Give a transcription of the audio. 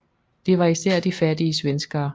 Det var især de fattige svenskere